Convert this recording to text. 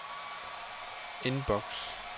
indboks